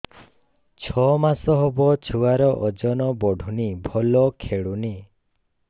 ଛଅ ମାସ ହବ ଛୁଆର ଓଜନ ବଢୁନି ଭଲ ଖେଳୁନି